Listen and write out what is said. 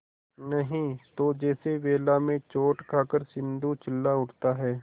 नहीं तो जैसे वेला में चोट खाकर सिंधु चिल्ला उठता है